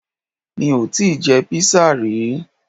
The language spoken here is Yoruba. Mi ò tíì je píìsì rí